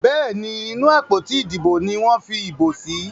Béèni inú àpótí Ìdìbò ní wón fí ibo sí.